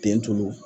Ten tulu